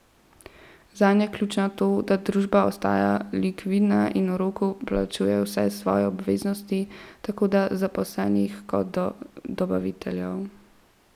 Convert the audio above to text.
Zanjo je ključno to, da družba ostaja likvidna in v roku plačuje vse svoje obveznosti tako do zaposlenih kot do dobaviteljev.